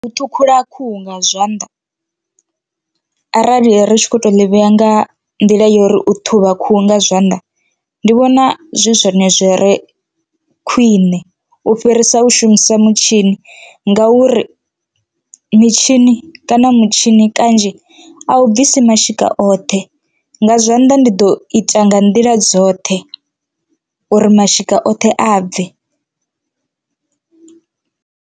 U ṱhukhula khuhu nga zwanḓa arali ri tshi kho to ḽi vhea nga nḓila ya uri u ṱhuvha khuhu nga zwanḓa ndi vhona zwi zwone zwi re khwiṋe u fhirisa u shumisa mutshin, i ngauri mitshini kana mutshini kanzhi a u bvisa mashika oṱhe nga zwanḓa ndi ḓo ita nga nḓila dzoṱhe uri mashika oṱhe a bve.